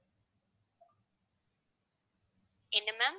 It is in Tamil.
என்ன ma'am